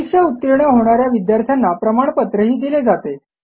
परीक्षा उतीर्ण होणा या विद्यार्थ्यांना प्रमाणपत्रही दिले जाते